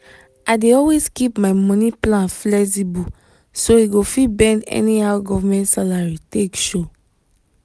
i dey always keep my money plan flexible so e go fit bend anyhow government salary take show.